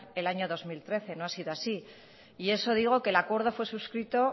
el año dos mil trece no ha sido así y eso digo que el acuerdo fue suscrito